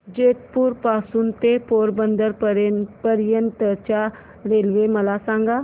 जेतपुर पासून ते पोरबंदर पर्यंत च्या रेल्वे मला सांगा